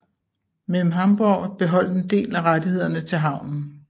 Mem Hamborg beholdt en del af rettighederne til havnen